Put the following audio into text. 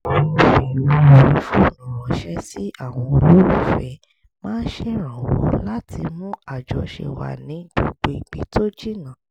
fífi owó orí fóònù ránṣẹ́ sí àwọn olólùfẹ́ máa ṣèrànwọ́ láti mú àjọṣe wà ní gbogbo ibi tó jìnnà